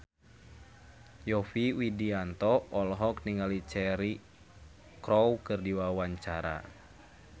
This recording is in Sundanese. Yovie Widianto olohok ningali Cheryl Crow keur diwawancara